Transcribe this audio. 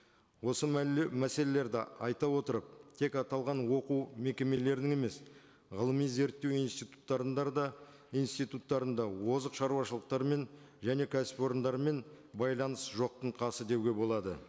осы мәселелерді айта отырып тек аталған оқу мекемелерін емес ғылыми зерттеу да институттарында озық шаруашылықтармен және кәсіпорындармен байланыс жоқтың қасы деуге болады